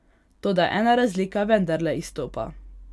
Toda ena razlika vendarle izstopa.